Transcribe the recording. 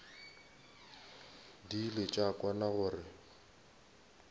di ile tša kwana gore